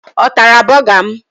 Ọ tara bọga m?